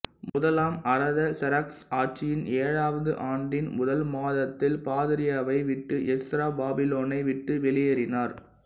முதலாம் அரதசெராக்சஸ் ஆட்சியின் ஏழாவது ஆண்டின் முதல் மாதத்தில் பாதிரியாவை விட்டு எஸ்ரா பாபிலோனை விட்டு வெளியேறினார்